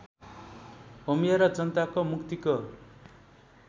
होमिएर जनताको मुक्तिको